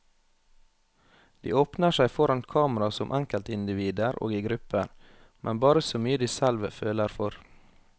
De åpner seg foran kamera som enkeltindivider og i grupper, men bare så mye de selv føler for.